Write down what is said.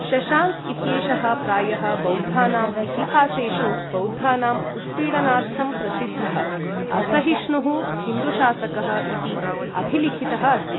शशाङ्क इत्येषः प्रायः बौद्धानाम् इतिहासेषु, बौद्धानाम् उत्पीडनार्थं प्रसिद्धः, असहिष्णुः हिन्दुशासकः इति अभिलिखितः अस्ति।